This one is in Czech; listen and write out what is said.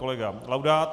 Kolega Laudát.